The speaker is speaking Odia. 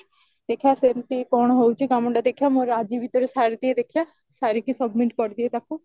ଦେଖିବା ସେମତି କଣ ହଉଚି କାମଟା ଦେଖିବା ମୋର ଆଜି ଭିତରେ ସାରିଦିଏ ଦେଖିବା ସାରିକି submit କରିଦିଏ ତାକୁ